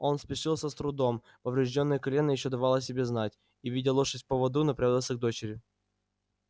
он спешился с трудом повреждённое колено ещё давало о себе знать и ведя лошадь в поводу направился к дочери